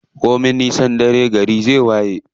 Komin nisan dare gari zai waye.